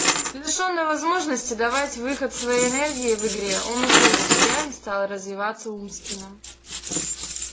лишённый возможности давать выход своей энергии в игре он ушёл в себя и стал развиваться умственно